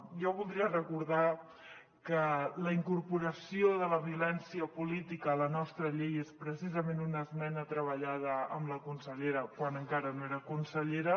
jo voldria recordar que la incorporació de la violència política a la nostra llei és precisament una esmena treballada amb la consellera quan encara no era consellera